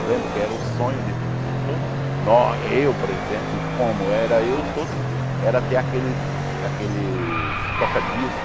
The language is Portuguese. lembro que era o sonho de de todos nós, eu por exemplo, e como era eu, todos, era ter aqueles, aqueles toca disco,